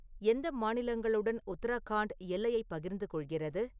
எந்த மாநிலங்களுடன் உத்தரகாண்ட் எல்லையைப் பகிர்ந்து கொள்கிறது